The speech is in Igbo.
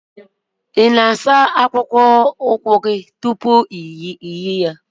ị na-asa akpụkpọ ụkwụ gị tupu ị na-eyi?